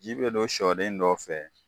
Ji be don sɔden dɔw fɛ